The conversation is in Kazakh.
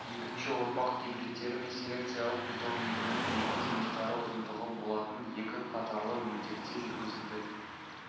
екінші ұрпақ гибридтері мен селекциялық питомнигінің егу жұмыстары ұзындығы болатын екі қатарлы мөлдекте жүргізілді